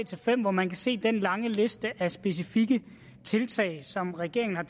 fem hvor man kan se den lange liste af specifikke tiltag som regeringen har